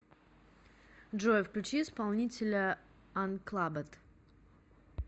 джой включи исполнителя анклабед